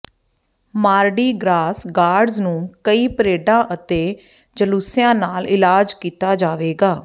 ਮਾਰਡੀ Gras guards ਨੂੰ ਕਈ ਪਰੇਡਾਂ ਅਤੇ ਜਲੂਸਿਆਂ ਨਾਲ ਇਲਾਜ ਕੀਤਾ ਜਾਵੇਗਾ